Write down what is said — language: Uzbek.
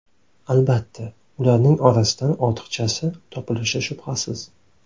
Albatta, ularning orasidan ortiqchasi topilishi shubhasiz.